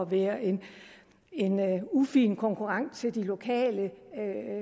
være en ufin konkurrent til de lokale